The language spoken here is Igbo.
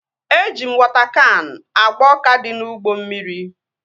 Eji m wọta kan agba ọka dị n'ugbo mmiri